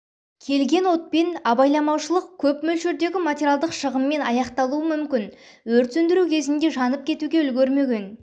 келген отпен абайламаушылық көп мөлшердегі материалдық шығынмен аяқталуы мүмкін өрт сөндіру кезінде жанып кетуге үлгермеген